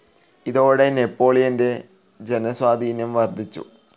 ഇതോടെ നെപ്പോളിയൻ്റെ ജനസ്വാധീനം വർധിച്ചു